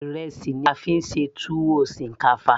ìrẹsì ni a fí ń ṣe tuwo shinkafa